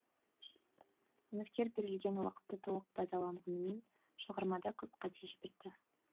үміткер берілген уақытты толық пайдаланғанымен шығармада көп қате жіберді